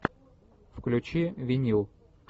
включи винил